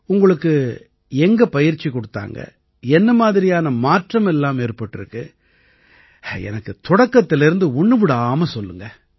உங்களுக்கு எங்க பயிற்சி கொடுத்தாங்க என்ன மாதிரியான மாற்றம் எல்லாம் ஏற்பட்டிருக்கு எனக்கு தொடக்கத்திலேர்ந்து ஒண்ணு விடாம சொல்லுங்க